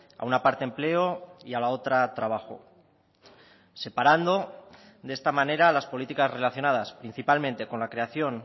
a una parte empleo y a la otra trabajo separando de esta manera las políticas relacionadas principalmente con la creación